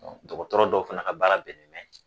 Dɔkɔtɔrɔ dɔw fɛnɛ ka baara bɛnnen bɛ